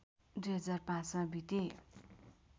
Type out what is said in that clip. २००५ मा बिते